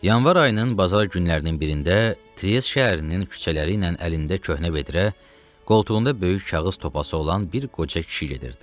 Yanvar ayının bazar günlərinin birində Tries şəhərinin küçələri ilə əlində köhnə vedrə, qoltuğunda böyük kağız topası olan bir qoca kişi gedirdi.